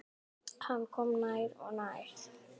Hann kom nær og nær.